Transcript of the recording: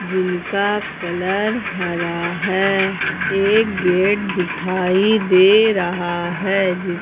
जिनका कलर हरा है एक गेट दिखाई दे रहा है जिस--